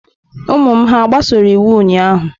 Ụmụ m hà gbasoro iwu ụnyahụ?